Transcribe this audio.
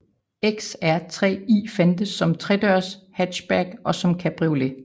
XR3i fandtes som tredørs hatchback og som cabriolet